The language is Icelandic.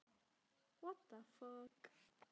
Það getur einnig rifnað við margvíslega áreynslu.